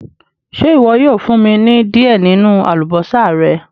Ṣé iwọ yóò fún mí ni diẹ ninu àlúbọsà rẹ̀?